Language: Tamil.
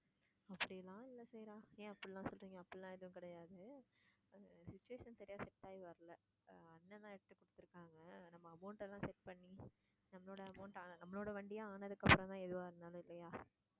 அப்படி எல்லாம் இல்லை சைரா. ஏன் அப்படியெல்லாம் சொல்றீங்க? அப்படியெல்லாம் எதுவும் கிடையாது. சரியா set ஆகி வரலை. அண்ண்ன் தான் எடுத்துக் குடுத்துருக்காங்க. நம்ம amount எல்லாம் set பண்ணி நம்மளோ amount நம்மளோட வண்டியா ஆனதுக்கு அப்புறம் தான் எதுவா இருந்தாலும் இல்லையா?